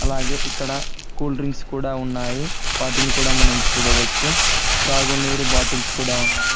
అలాగే ఇక్కడ కూల్డ్రింక్స్ కూడా ఉన్నాయి వాటిని కూడా మనం చూడవచ్చు అలాగే త్రాగునీరు బాటిల్స్ కూడా--